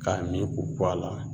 K'a mi k'u ko a la